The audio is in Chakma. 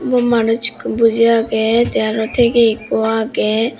undi manuch ekko buji agey te arow tigey ekko agey.